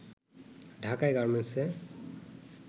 ঢাকায় গার্মেন্টস-এ